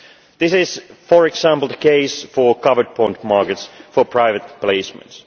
This is, for example, the case for covered bond markets for private placements.